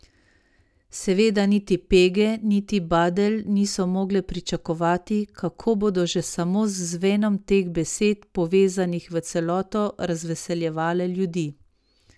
Seveda niti pege niti badelj niso mogle pričakovati, kako bodo že samo z zvenom teh besed, povezanih v celoto, razveseljevale ljudi.